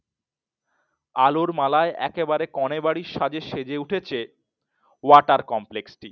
আলোর মালায়ে একদম কোণে বাড়ির সাজে সেজে উঠেছে Water Complex টি।